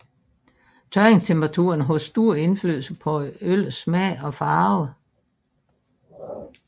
Tørringstemperaturen har stor indflydelse på øllets smag og farve